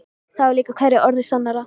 Það var líka hverju orði sannara.